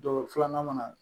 filanan mana na